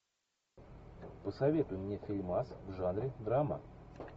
посоветуй мне фильмас в жанре драма